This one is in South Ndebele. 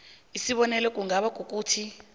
isibonelo kungaba kukuthi